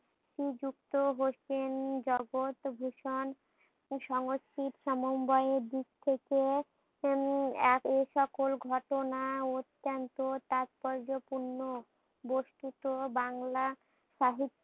নিযুক্ত হোসেন জগৎ ভূষণ সংস্কৃত সমবায়ের দিক থেকে উম এক এসকল ঘটনা অত্যান্ত তাৎপর্য পূর্ণ।